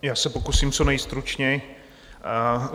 Já se pokusím co nejstručněji.